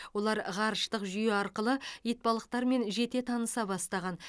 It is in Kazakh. олар ғарыштық жүйе арқылы итбалықтармен жете таныса бастаған